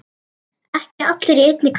Ekki allir í einni kássu!